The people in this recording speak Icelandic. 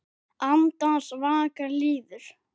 Andans vaka líður.